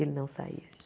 Ele não saía de.